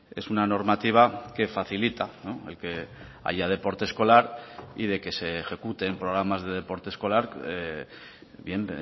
es una normativa que facilita el que haya deporte escolar y de que se ejecuten programas de deporte escolar bien